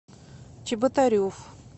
чеботарев